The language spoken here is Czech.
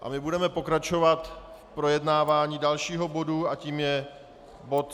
A my budeme pokračovat v projednávání dalšího bodu a tím je bod